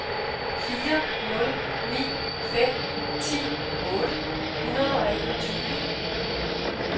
fire nul ni fem ti otte hundrede og enogtyve